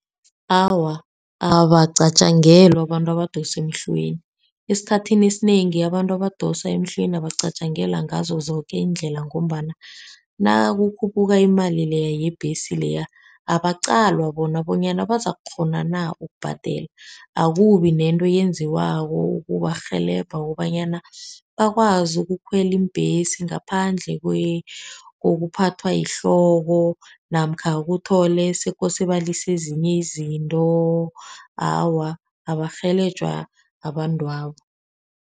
Awa, abacatjangelwa abantu abadosa emhlweni, esikhathini esinengi abantu abadosa emhlweni abacatjangelwa ngazo zoke iindlela, ngombana nakukhuphuka imali leya yebhesi leya abaqalwa bona bonyana bazakukghona na ukubhadela, akubinento eyenziwako ukubarhelebha kobanyana bakwazi ukukhwela iimbhesi ngaphandle kokuphathwa yihloko, namkha kuthole sekose balise ezinye izinto awa abarhelebhejwa abantwabo.